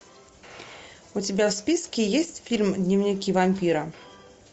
у тебя в списке есть фильм дневники вампира